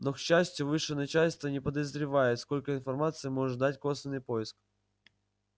но к счастью высшее начальство и не подозревает сколько информации может дать косвенный поиск